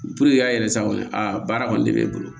an yɛrɛ sa kɔni a baara kɔni de bɛ e bolo